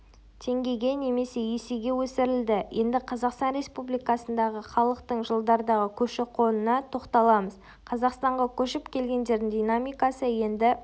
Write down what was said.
теңгеге немесе есеге өсірілді енді қазақстан республикасындағы халықтың жылдардағы көші-қонына тоқталамыз қазақстанға көшіп келгендердің динамикасы енді